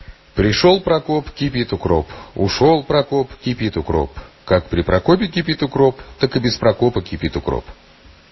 пришёл прокоп кипит укроп ушёл прокоп кипит укроп как при прокопе кипит укроп так и без прокопа кипит укроп